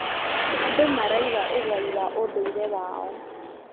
Andũ maraiga ũgai wa ũndũire wao.